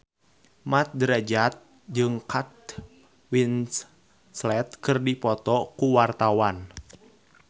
Mat Drajat jeung Kate Winslet keur dipoto ku wartawan